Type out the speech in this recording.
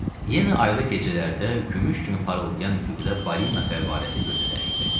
Yenə aylı gecələrdə gümüş kimi parıldayan üfüqdə balina fəvvarəsi gözə dəyirdi.